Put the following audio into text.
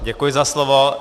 Děkuji za slovo.